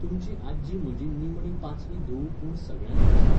तुमची आज्जी म्हजी निमणी पांचवी धूव पूण सगळ्यांत हुशार.